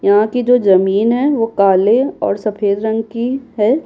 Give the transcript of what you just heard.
यहाँ की जो जमीन है वो काले और सफेद रंग की है।